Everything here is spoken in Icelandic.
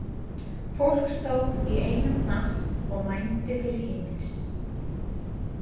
Fólk stóð í einum hnapp og mændi til himins.